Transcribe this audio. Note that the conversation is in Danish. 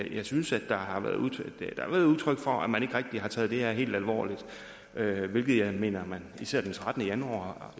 jeg synes der har været givet udtryk for at man ikke har taget det her helt alvorligt hvilket jeg mener man især den trettende januar